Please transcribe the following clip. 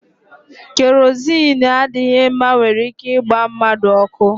Kerozini adịghị mma nwere ike ịgba mmadụ ọkụ.